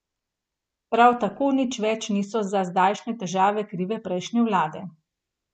Prav tako nič več niso za zdajšnje težave krive prejšnje vlade.